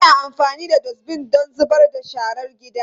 Ana amfani da Dustbin don zubar da sharar gida.